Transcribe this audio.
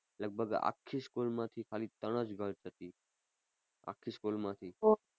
લગભગ આખી school માંથી ખાલી ત્રણ જ girls હતી આખી સ્કૂલમાંથી